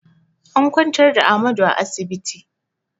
An kwantar da Ahmadu a asibiti